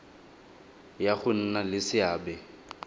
ya go nna le seabe